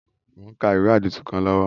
Mo n ka ìwé àdìtú kan lọ́wọ́